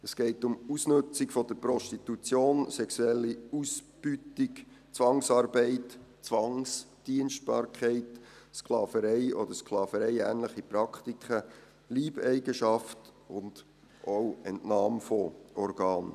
Es geht um Ausnützung der Prostitution, sexuelle Ausbeutung, Zwangsarbeit, Zwangsdienstbarkeit, Sklaverei oder sklavereiähnliche Praktiken, Leibeigenschaft und auch Entnahme von Organen.